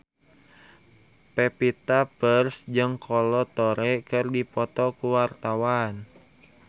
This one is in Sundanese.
Pevita Pearce jeung Kolo Taure keur dipoto ku wartawan